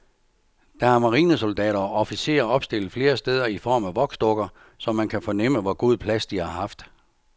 Der er marinesoldater og officerer opstillet flere steder i form af voksdukker, så man kan fornemme, hvor god plads de har haft.